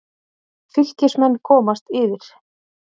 Fylkismenn komast yfir.